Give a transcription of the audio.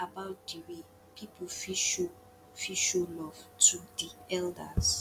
you fit talk about di way people fit show fit show love to di elders